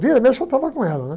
Vira e mexe eu estava com ela, né?